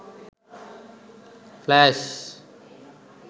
flash